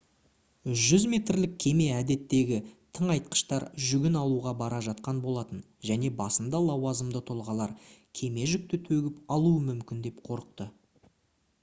100 метрлік кеме әдеттегі тыңайтқыштар жүгін алуға бара жатқан болатын және басында лауазымды тұлғалар кеме жүкті төгіп алуы мүмкін деп қорықты